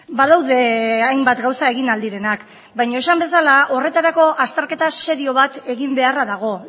badaude hainbat gauza egin ahal direnak baina esan bezala horretarako azterketa serio bat egin beharra dago